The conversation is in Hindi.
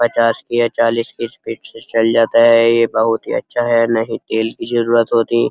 पचास की या चालीस की स्पीड से चल जाता है ये बहुत ही अच्छा है नहीं तेल की जरुरत होती --